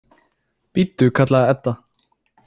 Bíddu, kallaði Edda.